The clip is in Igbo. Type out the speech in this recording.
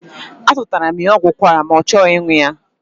Azụtaara m ya ọgwụ ụkwara ma na ọ chọghị ịṅụ ya.